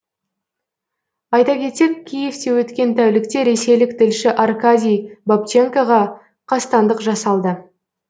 айта кетсек киевте өткен тәулікте ресейлік тілші аркадий бабченкоға қастандық жасалды